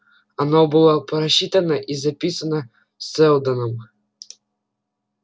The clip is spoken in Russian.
оно было просчитано и записано сэлдоном